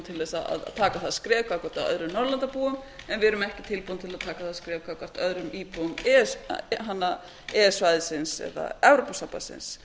til að taka það skref gagnvart öðrum norðurlandabúum en við erum ekki tilbúnir til að taka það skref gagnvart öðrum íbúum e e s svæðisins eða evrópusambandsins